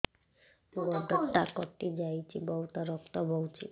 ଗୋଡ଼ଟା କଟି ଯାଇଛି ବହୁତ ରକ୍ତ ବହୁଛି